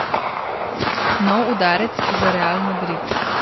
Nov udarec za Real Madrid.